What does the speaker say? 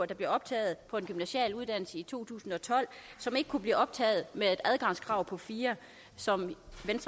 der blev optaget på en gymnasial uddannelse i to tusind og tolv som ikke kunne blive optaget med et adgangskrav på fire som